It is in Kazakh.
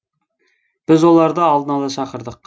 біз оларды алдын ала шақырдық